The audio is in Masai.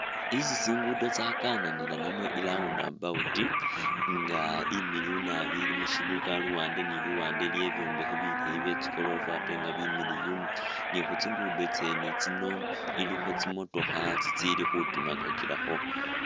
Isi tsingudo tsakananila namwe i'round about nga imiliyu naabi ilimu shibuga luwande ni luwande iliyo ibyombekhe bileyi byetsi goroofa ate nga bimiliyu ni khutsigudo khwene tsino ilikho tsimotokha tsitsili khutimakakilakho